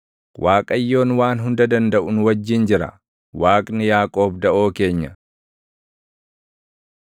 Waaqayyoon Waan Hunda Dandaʼu nu wajjin jira; Waaqni Yaaqoob daʼoo keenya.